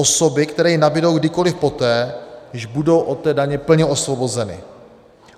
Osoby, které ji nabydou kdykoliv poté, již budou od té daně plně osvobozeny.